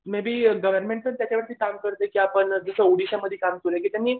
may be government secretary काम करते की आपण जसं ओडिशामध्ये काम केले की त्यांनी